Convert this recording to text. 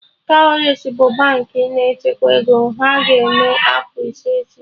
Cowrywise bụ Baankị na-echekwa ego, ha ga-eme afọ ise echi